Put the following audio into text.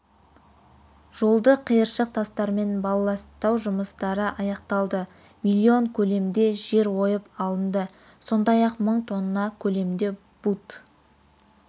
жолды қиыршық тастармен балласттау жұмыстары аяқталды миллион көлемде жер ойып алынды сондай-ақ мың тонна көлемде бут